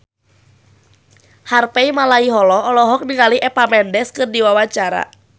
Harvey Malaiholo olohok ningali Eva Mendes keur diwawancara